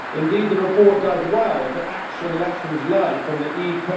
Indeed the report does well to act on lessons learnt from the E.